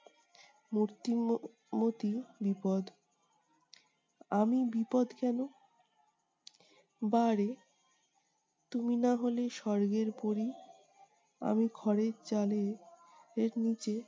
মূর্তি ম~ ম্মতি বিপদ! আমি বিপদ কেনো? বাহ্ রে! তুমি না হলে স্বর্গের পরী! আমি ঘরের চালে এর নিচে